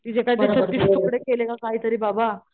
तिचे काय तरी छत्तीस तुकडे केले का काय तरी बाबा